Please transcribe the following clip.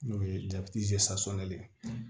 N'o ye le ye